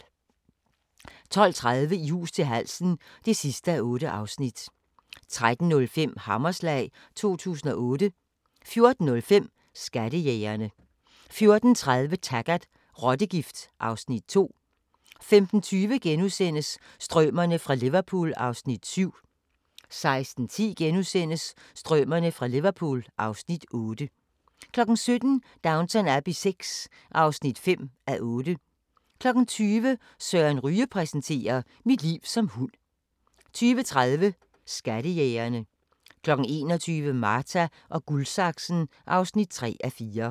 12:30: I hus til halsen (8:8) 13:05: Hammerslag 2008 14:05: Skattejægerne 14:30: Taggart: Rottegift (Afs. 2) 15:20: Strømerne fra Liverpool (Afs. 7)* 16:10: Strømerne fra Liverpool (Afs. 8)* 17:00: Downton Abbey VI (5:8) 20:00: Søren Ryge præsenterer: "Mit liv som hund" 20:30: Skattejægerne 21:00: Marta & Guldsaksen (3:4)